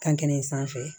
Kankelen in sanfɛ